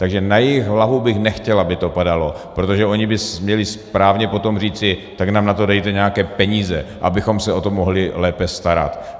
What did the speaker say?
Takže na jejich hlavu bych nechtěl, aby to padalo, protože oni by měli správně potom říci: tak nám na to dejte nějaké peníze, abychom se o to mohli lépe starat.